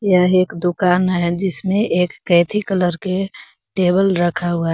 यह एक दुकान है जिसमें एक कैथी कलर के टेबल रखा हुआ हैं।